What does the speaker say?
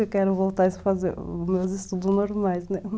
Eu quero voltar a fazer os meus estudos normais, né?